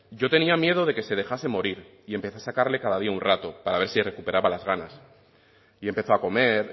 yo tenía miedo de que se dejase morir y empecé a sacarle cada día un rato para ver si recuperaba las ganas y empezó a comer